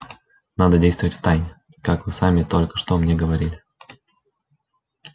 надо действовать втайне как вы сами только что мне говорили